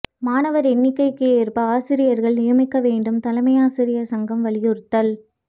மாணவர் எண்ணிக்கைக்கு ஏற்ப ஆசிரியர்கள் நியமிக்க வேண்டும் தலைமையாசிரியர் சங்கம் வலியுறுத்தல்